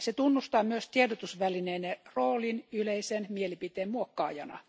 Se tunnustaa myös tiedotusvälineiden roolin yleisen mielipiteen muokkaajana.